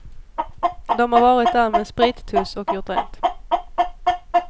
De har varit där med en sprittuss och gjort rent.